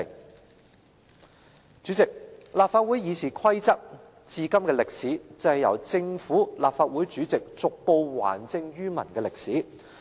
代理主席，立法會《議事規則》迄今的歷史，便是由政府、立法會主席逐步還政於民的歷史。